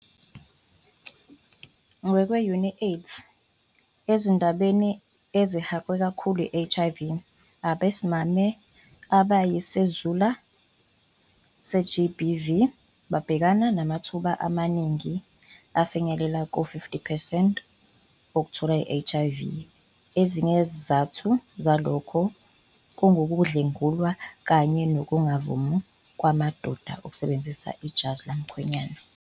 Ngokwe-UNAIDS, ezindaweni ezihaqwe kakhulu i-HIV, abesimame abayizisulu ze-GBV babhekana namathuba amaningi afinyelela kuma-50 percent okuthola i-HIV. Ezinye zezizathu zalokhu ngukudlwengulwa kanye nokungavumi kwamadoda ukusebenzisa ijazi lomkhwenyana.